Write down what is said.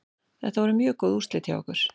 Þetta voru mjög góð úrslit hjá okkur.